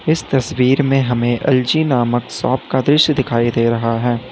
इस तस्वीर में हमें एल_जी नामक शॉप का दृश्य दिखाई दे रहा है।